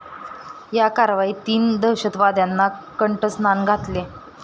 या कारवाईत तीन दहशतवाद्यांना कंठस्नान घातले.